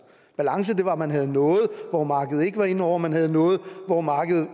balance var at man havde noget hvor markedet ikke var inde over man havde noget hvor markedet